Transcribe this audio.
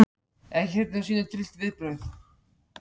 Serbar ætla að áfrýja dómnum.